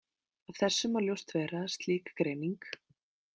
Af þessu má ljóst vera að slík greining.